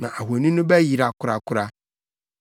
na ahoni no bɛyera korakora.